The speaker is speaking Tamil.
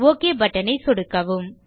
ஒக் பட்டன் ஐ சொடுக்கவும்